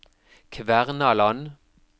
Kvernaland